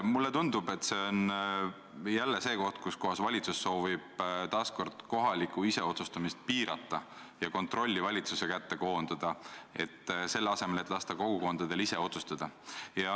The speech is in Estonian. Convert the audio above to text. Mulle tundub, et see on jälle see koht, kus valitsus soovib taas kord kohalikku iseotsustamist piirata ja kontrolli valitsuse kätte koondada, selle asemel et lasta kogukondadel ise otsustada.